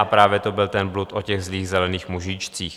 A právě to byl ten blud o těch zlých zelených mužíčcích.